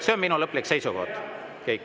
See on minu lõplik seisukoht.